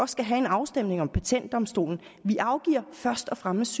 skal have en afstemning om patentdomstolen først og fremmest